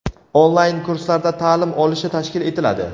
onlayn kurslarda taʼlim olishi tashkil etiladi.